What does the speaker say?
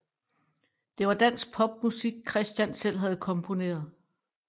Det var dansk popmusik Kristian selv havde komponeret